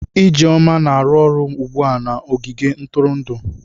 Ijeoma na-arụ ọrụ ugbu a na ogige ntụrụndụ.